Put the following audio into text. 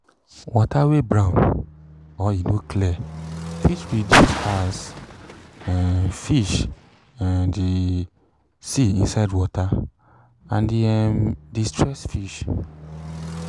water wey brown or e no clear fit reduce as um fish um de see inside water and e um de stress fish